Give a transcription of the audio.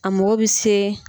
A mako bɛ se.